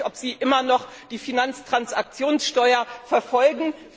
Ich weiß nicht, ob Sie immer noch die Finanztransaktionssteuer verfolgen.